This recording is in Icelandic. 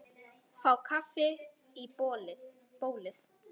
Fá kaffi í bólið.